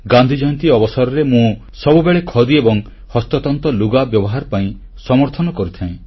ଗାନ୍ଧି ଜୟନ୍ତୀ ଅବସରରେ ମୁଁ ସବୁବେଳେ ଖଦି ଏବଂ ହସ୍ତତନ୍ତ ଲୁଗା ବ୍ୟବହାର ପାଇଁ ସମର୍ଥନ କରିଥାଏ